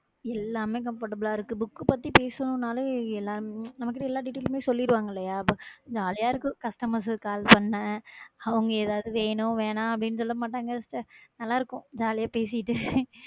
எல்லாமே comfortable ஆ இருக்கு book பத்தி பேசணும்னாலே, எல்~ நமக்கு எல்லா details மே சொல்லிருவாங்களேயா இப்ப jolly ஆ இருக்கும் customers call பண்ண அவங்க ஏதாவது வேணும், வேணாம் அப்படீன்னு சொல்ல மாட்டாங்க sister நல்லா இருக்கும் jolly ஆ பேசிட்டு